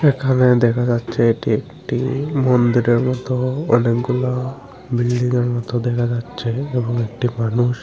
এখানে দেখা যাচ্ছে এটি একটি মন্দিরের মতো অনেকগুলা বিল্ডিংয়ের -এর মতো দেখা যাচ্ছে এবং একটি মানুষ --